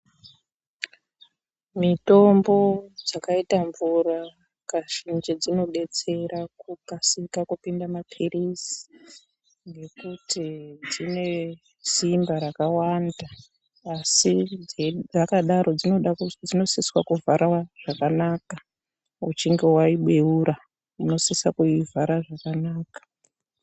Mitombo dzakaita mvura Kazhinji dzinodetsera kukasika kupinda maphirisi ngekuti dzine simba rakawanda asi dzakadaro dzinosiswa kuvharwa zvakanaka uchinge waibeura unosisa kuivhara zvakanaka.